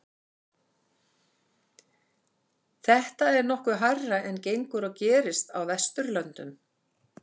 Þetta er nokkuð hærra en gengur og gerist á Vesturlöndum.